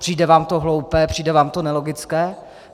Přijde vám to hloupé, přijde vám to nelogické?